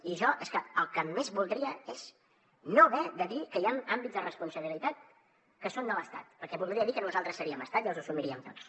i jo el que més voldria és no haver de dir que hi han àmbits de responsabilitat que són de l’estat perquè voldria dir que nosaltres seriem estat i els assumiríem tots